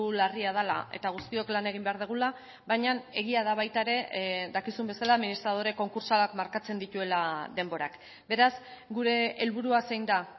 larria dela eta guztiok lan egin behar dugula baina egia da baita ere dakizun bezala administradore konkurtsalak markatzen dituela denborak beraz gure helburua zein da